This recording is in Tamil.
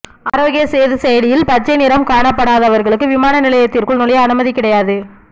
ஆரோக்கிய சேது செயலியில் பச்சை நிறம் காணப்படாதவர்களுக்கு விமான நிலையத்திற்குள் நுழைய அனுமதி கிடையாது